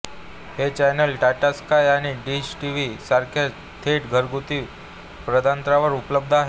हे channel Tata sky आणि dish TV सारख्या थेट घरगुती प्रदात्यांवर उपलब्ध आहे